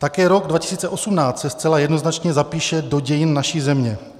Také rok 2018 se zcela jednoznačně zapíše do dějin naší země.